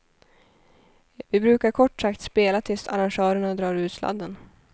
Vi brukar kort sagt spela tills arrangören drar ur sladden.